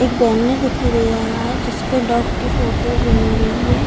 एक बैनर दिखाई दे रहा है। जिस पर डॉग की फोटोस बनी हुई है।